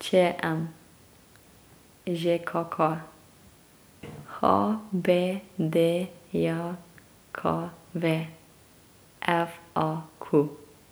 Č M; Ž K K; H B D J K V; F A Q.